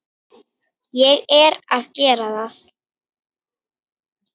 Ég er að gera það.